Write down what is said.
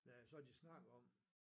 Ja så har de snakket om